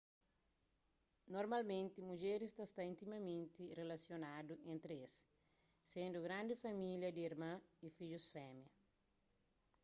normalmenti mudjeris ta sta intimamenti rilasionadu entri es sendu grandi família di irman y fidjus fémia